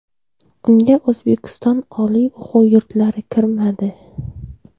Unga O‘zbekiston oliy o‘quv yurtlari kirmadi.